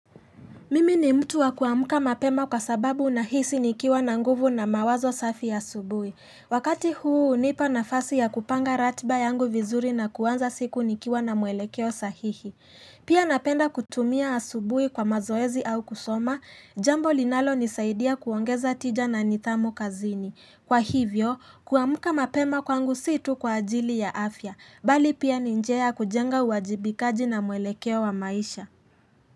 Mimi ni mtu wa kuamka mapema kwa sababu nahisi nikiwa na nguvu na mawazo safi ya asubuhi. Wakati huu unipa nafasi ya kupanga ratiba yangu vizuri na kuanza siku nikiwa na mwelekeo sahihi. Pia napenda kutumia asubuhi kwa mazoezi au kusoma, jambo linalo nisaidia kuongeza tija na nidhamu kazini. Kwa hivyo, kuamka mapema kwangu sii tu kwa ajili ya afya, bali pia ni njia ya kujenga uwajibikaji na mwelekeo wa maisha.